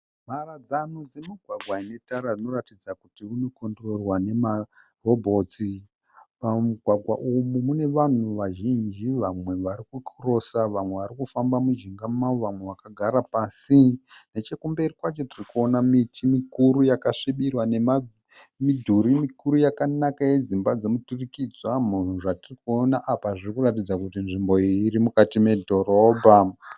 Mharadzano dzemugwagwa inetara unoratidza kuti inokondirorwa nemarobhotsi. Mumugwagwa umu munevanhu vazhinji vamwe varikukirosa vamwe varikufamba mujinga mawo vamwe vakagara pasi. Nechekumberi kwacho tirikuona miti mikuru yakasvibira nemamidhuri mikuru yakanaka yedzimba dzemiturikidzwa. Zvatirikuona apa zvirikuratidza kuti nzvimbo iyi irimukati medhorobha.